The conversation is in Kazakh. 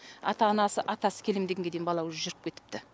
ата анасы атасы келем дегенге дейін бала уже жүріп кетіпті